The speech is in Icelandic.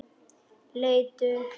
Leit upp.